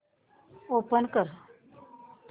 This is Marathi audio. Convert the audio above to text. ओपन कर